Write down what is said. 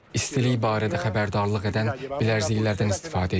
İstilik barədə xəbərdarlıq edən bilərziklərdən istifadə edirik.